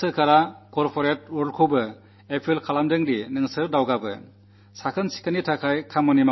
ഭാരതസർക്കാർ corporate ലോകത്തോടും മുന്നോട്ടുവരാൻ അഭ്യർഥന നടത്തിയിട്ടുണ്ട്